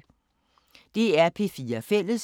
DR P4 Fælles